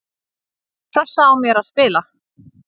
Pressa á mér að spila